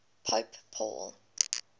pope paul